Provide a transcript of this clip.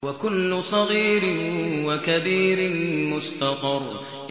وَكُلُّ صَغِيرٍ وَكَبِيرٍ مُّسْتَطَرٌ